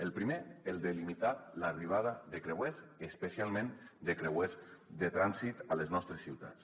el primer el de limitar l’arribada de creuers especialment de creuers de trànsit a les nostres ciutats